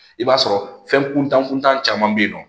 I b'a sɔrɔ fɛn kuntan kuntan caman bɛ yen nɔ